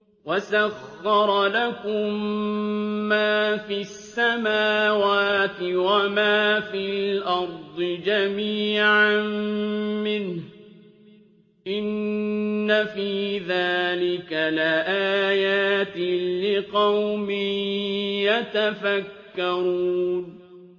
وَسَخَّرَ لَكُم مَّا فِي السَّمَاوَاتِ وَمَا فِي الْأَرْضِ جَمِيعًا مِّنْهُ ۚ إِنَّ فِي ذَٰلِكَ لَآيَاتٍ لِّقَوْمٍ يَتَفَكَّرُونَ